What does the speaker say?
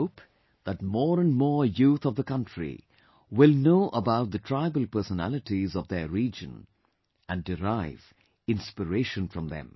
I hope that more and more youth of the country will know about the tribal personalities of their region and derive inspiration from them